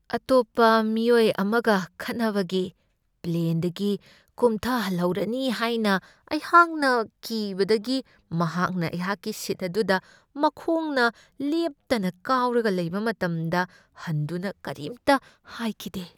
ꯑꯇꯣꯞꯄ ꯃꯤꯑꯣꯏ ꯑꯃꯒ ꯈꯠꯅꯕꯒꯤ ꯄ꯭ꯂꯦꯟꯗꯒꯤ ꯀꯨꯝꯊꯍꯜꯍꯧꯔꯅꯤ ꯍꯥꯏꯅ ꯑꯩꯍꯥꯛꯅ ꯀꯤꯕꯗꯒꯤ ꯃꯍꯥꯛꯅ ꯑꯩꯍꯥꯛꯀꯤ ꯁꯤꯠ ꯑꯗꯨꯗ ꯃꯈꯣꯡꯅ ꯂꯦꯞꯇꯅ ꯀꯥꯎꯔꯒ ꯂꯩꯕ ꯃꯇꯝꯗ ꯍꯟꯗꯨꯅ ꯀꯔꯤꯝꯇ ꯍꯥꯏꯈꯤꯗꯦ ꯫